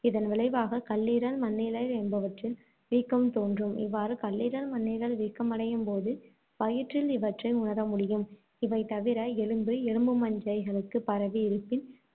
இதன் விளைவாக கல்லீரல், மண்ணீரல் என்பவற்றில் வீக்கம் தோன்றும். இவ்வாறு கல்லீரல், மண்ணீரல் வீக்கமடையும்போது, வயிற்றில் இவற்றை உணர முடியும். இவை தவிர எலும்பு, எலும்பு மஞ்சைகளுக்குப் பரவி இருப்பின்,